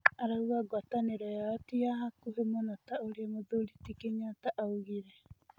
Arauga ngwatanĩro yao ti yahakuhi mũno ta ũrĩa mũthuri ti Kĩnyata augire.